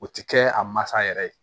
O ti kɛ a masa yɛrɛ ye